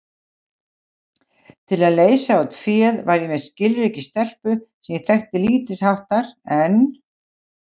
Til að leysa út féð var ég með skilríki stelpu sem ég þekkti lítilsháttar en